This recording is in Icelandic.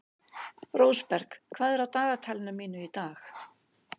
Rósberg, hvað er á dagatalinu mínu í dag?